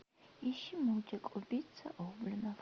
ищи мультик убийца гоблинов